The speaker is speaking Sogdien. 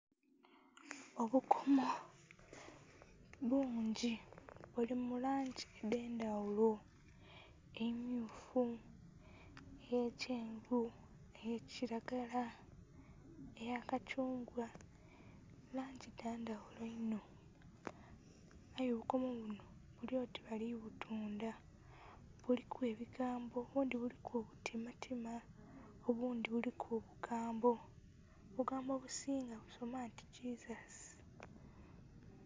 Obukomo bungi buli mu langi edh'endhaghulo. Emmyufu, eyekyenvu, eya kilagala, eya kathungwa, langi dha ndhaghulo inho. Aye obukomo buno buli oti bali butundha. Buliku ebigambo, obundhi buliku ibutimatima. Obundhi buliku obugambo, obugambo obusinga busoma nti Jesus.